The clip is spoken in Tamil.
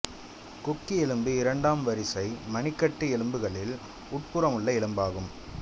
கொக்கி எலும்பு இரண்டாம் வரிசை மணிக்கட்டு எலும்புகளில் உட்புறமுள்ள எலும்பாகும்